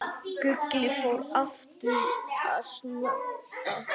Gulli fór aftur að snökta.